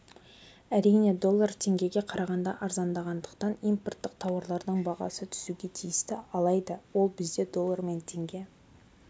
әрине доллар теңгеге қарағанда арзандағандықтан импорттық тауарлардың бағасы түсуге тиісті алайда ол бізде доллар мен теңге